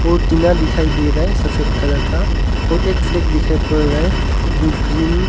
और टीना दिखाई दे रहा है सफेद कलर का और फ्लैग दिखाई पड़ रहा है जो ग्रीन ।